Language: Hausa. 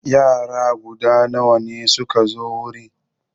Yara guda nawa suka zo wurin?